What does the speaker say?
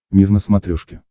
мир на смотрешке